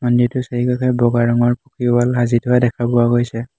মন্দিৰতো চাৰি কাখে বগা ৰঙৰ পকী ৱাল সাজি থোৱা দেখা পোৱা গৈছে।